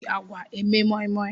E ji agwa eme moimoi